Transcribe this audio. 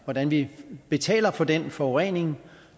hvordan vi betaler for den forurening